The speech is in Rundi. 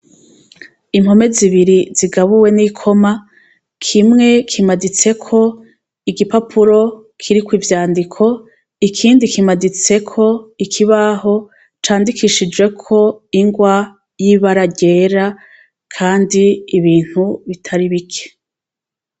Impome zibiri zigabuwe n'ikoma kimwe kimaditseko igipapuro kiriko ivyandiko ikindi kimaditseko ikibaho candikishijweko ingwa yibara ryera kandi ibintu bitari bike.